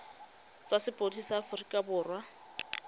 tsa sepodisi sa aforika borwa